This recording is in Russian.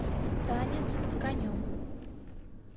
танец с конем